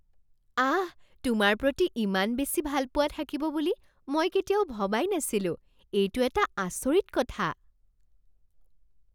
আহ! তোমাৰ প্ৰতি ইমান বেছি ভালপোৱা থাকিব বুলি মই কেতিয়াও ভবাই নাছিলো। এইটো এটা আচৰিত কথা।